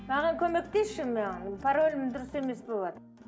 маған көмектесші маған паролім дұрыс емес болыватыр